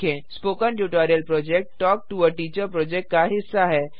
spoken tutorial project talk to a teacher project का हिस्सा है